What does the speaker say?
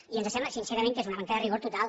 i ens sembla sincerament que és una manca de rigor total